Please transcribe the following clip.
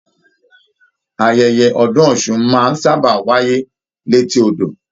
Ayẹyẹ ọdún Ọsún máa n sábà wáyé l'eti odò.